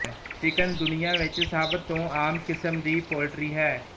chicken ਦੁਨੀਆ ਵਿੱਚ ਸਭ ਤੋਂ ਆਮ ਕਿਸਮ ਦੀ ਪੋਲਟਰੀ ਹੈ